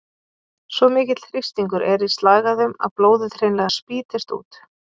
Svo mikill þrýstingur er í slagæðum að blóðið hreinlega spýtist út.